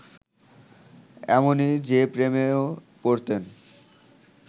এমনই, যে, প্রেমেও পড়তেন